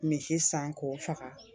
Misi san k'o faga